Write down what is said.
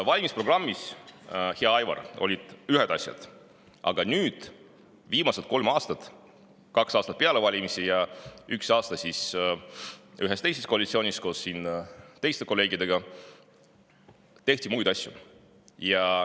Valimisprogrammis, hea Aivar, olid ühed asjad, aga viimased kolm aastat, kaks aastat peale valimisi ja üks aasta ühes teises koalitsioonis koos teiste kolleegidega, on tehtud muid asju.